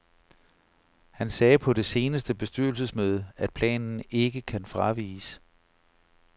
Han sagde på det seneste bestyrelsesmøde, at planen ikke kan fraviges.